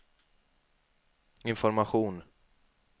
information